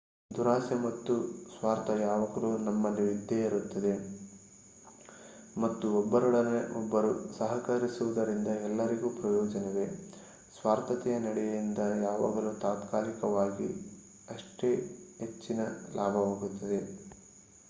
ದುರಾಸೆ ಮತ್ತು ಸ್ವಾರ್ಥ ಯಾವಾಗಲೂ ನಮ್ಮಲ್ಲಿ ಇದ್ದೇ ಇರುತ್ತದೆ ಮತ್ತು ಒಬ್ಬರೊಡನೆ ಒಬ್ಬರು ಸಹಕರಿಸುವುದರಿಂದ ಎಲ್ಲರಿಗೂ ಪ್ರಯೋಜನವೇ . ಸ್ವಾರ್ಥತೆಯ ನಡೆಯಿಂದ ಯಾವಾಗಲೂ ತಾತ್ಕಾಲಿಕವಾಗಿ ಅಷ್ಟೇ ಹೆಚ್ಚಿನ ಲಾಭವಾಗುತ್ತದೆ